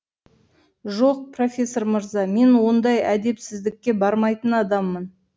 жоқ профессор мырза мен ондай әдепсіздікке бармайтын адаммын